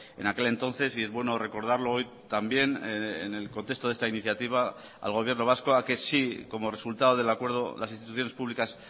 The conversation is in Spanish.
en aquel entonces y es bueno recordarlo hoy también en el contexto de esta iniciativa al gobierno vasco a que si como resultado del acuerdo las instituciones públicas